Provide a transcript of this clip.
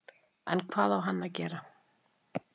En hvað á hann að gera?